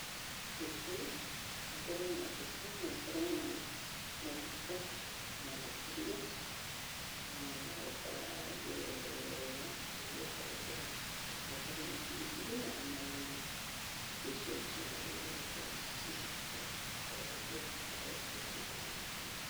Ngũkũ, ũkorwo na ngũkũ na ũkorwo na maguta na thaburia, ũkarange wega, ũruge kagukũ gaku. Ũcoke ũkorwo na biribiri na nyanya. Indo icio nĩ cio wagĩrĩirwo gũkorwo naci nĩ getha ũhũthĩre ũthondeke kĩndũ gĩkĩ.